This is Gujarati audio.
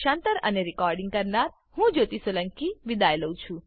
આઈઆઈટી બોમ્બે તરફથી હું જ્યોતી સોલંકી વિદાય લઉં છું